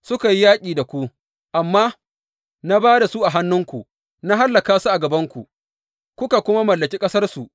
Suka yi yaƙi da ku, amma na ba da su a hannunku, na hallaka su a gabanku, kuka kuma mallaki ƙasarsu.